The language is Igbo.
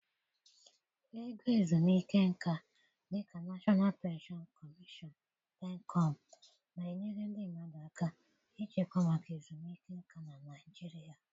Ego ezumike nka, dị ka National Pension Commission (PENCOM), na-enyere ndị mmadụ aka ịchekwa maka ezumike nka na Naijiria.)